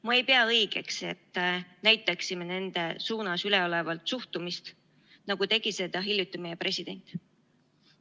Ma ei pea õigeks, et näitaksime nende suunas üleolevat suhtumist, nagu tegi seda hiljuti meie president.